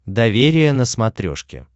доверие на смотрешке